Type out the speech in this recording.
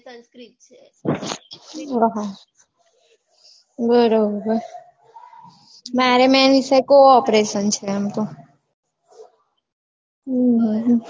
ઉહ બરોબર મારે main વિષય co operation છે એમ તો